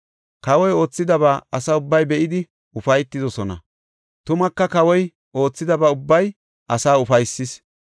Kawoy oothidaba asa ubbay be7idi ufaytidosona; tumaka kawoy oothidaba ubbay asaa ufaysis.